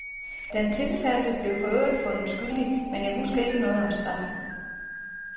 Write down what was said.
Den tiltalte blev for øvrigt fundet skyldig, men jeg husker ikke noget om straffen.